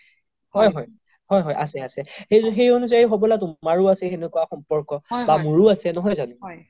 হয় হয় আছে আছে সেই এনোজাই হ'বলা তুমাৰও আছে তেনেকুৱা সম্পৰ্ক বা মোৰো আছে